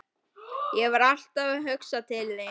Ég var alltaf að hugsa til þín.